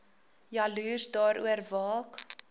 jaloers daaroor waak